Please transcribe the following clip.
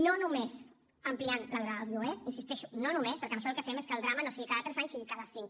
no només ampliant la durada dels lloguers hi insisteixo no només perquè amb això el que fem és que el drama no sigui cada tres anys sigui cada cinc